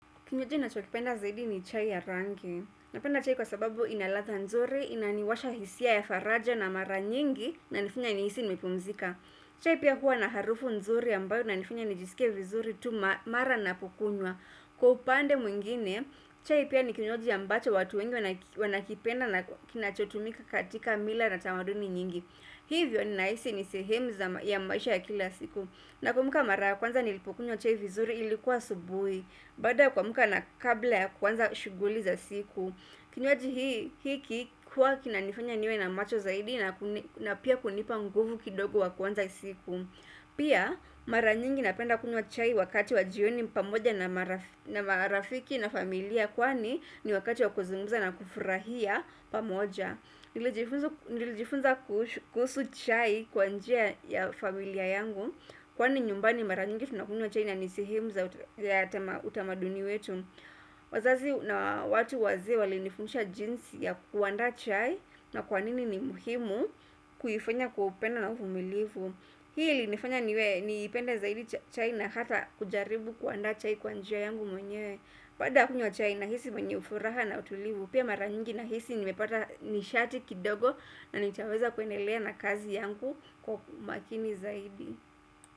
Kinywaji nachokipenda zaidi ni chai ya rangi. Napenda chai kwa sababu inalatha nzuri, inaniwasha hisia ya faraja na mara nyingi inanifanya nihisi nimepumzika. Chai pia hua na harufu nzuri ambayo inanifanya nijisikie vizuri tu mara napokunywa. Kwa upande mwingine, chai pia ni kinywaji ambacho watu wengi wanakipenda na kinachotumika katika mila na tamaduni nyingi. Hivyo ninaisi ni sehemu za ya maisha ya kila siku. Nakumbuka mara ya kwanza nilipokunywa chai vizuri ilikuwa asubuhi. Baada ya kuamka na kabla ya kwanza shughuli za siku Kinywaji hiki kuwa kinanifanya niwe na macho zaidi na pia kunipa nguvu kidogo wa kuanza hii siku Pia maranyingi napenda kunywa chai wakati wa jioni pamoja na marafiki na familia Kwani ni wakati wa kuzungumza na kufurahia pamoja Nilijifunza kuhusu chai kwa njia ya familia yangu Kwani nyumbani mara nyingi tunakunywa chai na nani sehemu za utamaduni wetu wazazi na watu wazee walinifundisha jinsi ya kuandaa chai na kwanini ni muhimu kuifanya kwa upendo na uvumilivu Hii ilinifanya niwe niipende zaidi chai na hata kujaribu kuanda chai kwa njia yangu mwenyewe baada kunywa chai nahisi mwenye furaha na utulivu Pia mara nyingi nahisi nimepata nishati kidogo na nitaweza kuendelea na kazi yangu kwa makini zaidi.